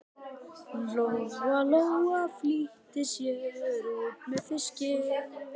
Lóa Lóa flýtti sér út með fiskinn.